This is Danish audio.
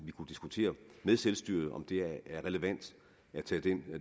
vi kunne diskutere med selvstyret om det er relevant at tage den